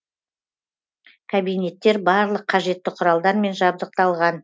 кабинеттер барлық қажетті құралдармен жабдықталған